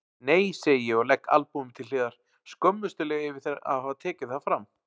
Nei segi ég og legg albúmið til hliðar, skömmustuleg yfir að hafa tekið það fram.